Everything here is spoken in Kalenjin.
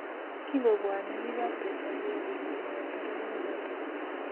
kingobwoni biikab Taifa leo kokikomwei talamoichoto